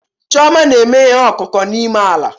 Chioma na-eme ihe ọkụkụ n'ime ala